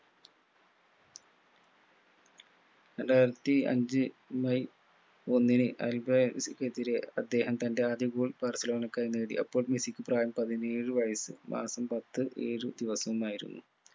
രണ്ടായിരത്തി അഞ്ചു മെയ് ഒന്നിന് അൽബായക്കെതിരെ അദ്ദേഹം തൻ്റെ ആദ്യ goal ബാഴ്‌സലോണക്കായി നേടി അപ്പോൾ മെസ്സിക്ക് പ്രായം പതിനേഴ് വയസ്സ് മാസം പത്ത് ഏഴു ദിവസമായിരുന്നു